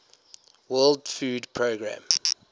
world food programme